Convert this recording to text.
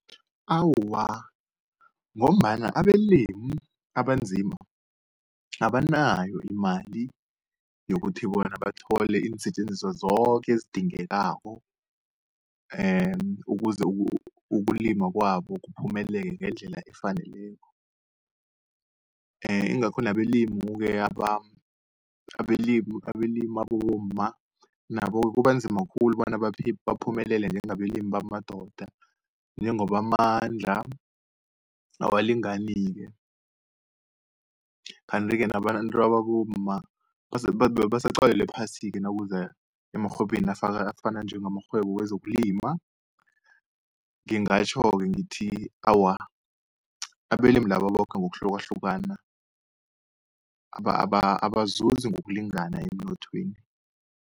Awa, ngombana abelimi abanzima abanayo imali, yokuthi bona bathole iinsetjenziswa zoke ezidingekako, ukuze ukulima kwabo kuphumelele ngendlela efaneleko. Ingakho nabelimu-ke abelimi abomma nabo-ke kubanzima khulu bona baphumelele njengabelimi bamadoda, njengoba amandla awalingani-ke. Kanti-ke nabantu ababomma basaqalelwe phasi-ke nakuza emarhwebeni afana njengamarhwebo wezokulima. Ngingatjho-ke ngithi awa abelimi laba boke ngokuhlukahlukana abazuzi ngokulingana emnothweni.